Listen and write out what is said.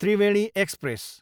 Triveni express